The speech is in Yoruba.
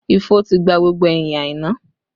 Ifo ti gba gbogbo ẹyin Aina